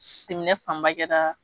fanba kɛra